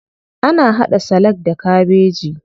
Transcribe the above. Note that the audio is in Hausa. Ana haɗa salak da kabeji.